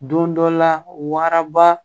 Don dɔ la waraba